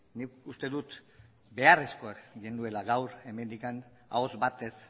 nik uste dut beharrezkoa genuela gaur hemendik ahots batez